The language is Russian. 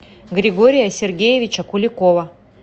григория сергеевича куликова